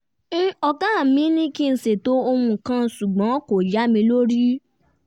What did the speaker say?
ọ̀gá mi ní kí n ṣètò ohun kan ṣùgbọ́n kò yá mi lórí